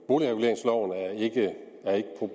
boligreguleringsloven er ikke problemet det